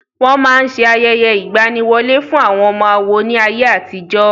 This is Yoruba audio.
Wọ́n máa ṣe ayẹyẹ ìgbaniwọlé fún àwọn ọmọ àwo ní ayé àtijó.